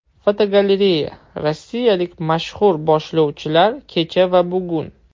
Fotogalereya: Rossiyalik mashhur boshlovchilar kecha va bugun.